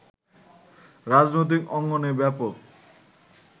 রাজনৈতিক অঙ্গনে ব্যাপক